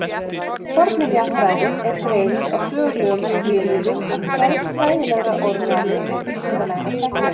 Fornminjafræðin er greining á sögulegum skilyrðum og gerð fræðilegrar orðræðu og vísindalegrar þekkingar.